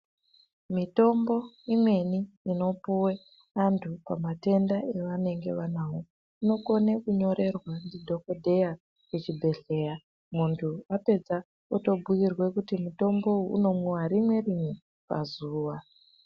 Mitombo imweni inopuwe antu pamatenda evanenge vanawo, inokone kunyorerwa ndidhokodheya kuchibhedhleya muntu apedza otobhuirwe kuti mutombo uyu unomwiwe rimwe rimwe pazuwa.